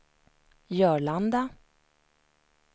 Jörlanda